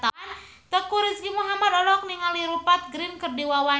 Teuku Rizky Muhammad olohok ningali Rupert Grin keur diwawancara